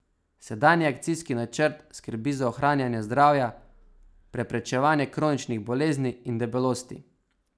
Sedanji akcijski načrt skrbi za ohranjanje zdravja, preprečevanje kroničnih bolezni in debelosti.